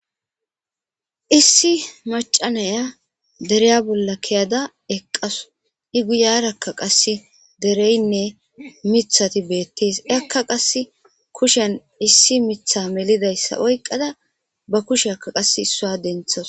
issi macanaya dereya bolla keyada eqqasu i guyarakka qasse dereynne mithati beettees akka qass kushen issi mitha melidayssa oyqqada ba kusheaka qas issaa denthas